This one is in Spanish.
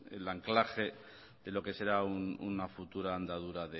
el anclaje de lo que será una futura andadura